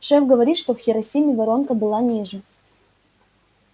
шеф говорит что в хиросиме воронка была ниже